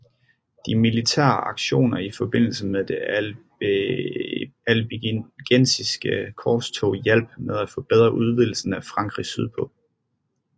De militære aktioner i forbindelse med det Albigensiske korstog hjalp med til at forberede udvidelsen af Frankrig sydpå